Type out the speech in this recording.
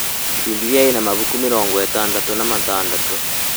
Bibilia ĩna mabuku mĩrongo ĩtandatũ na matandatũ